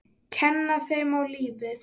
Kenna þeim á lífið.